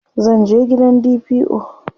zan je gidan DPO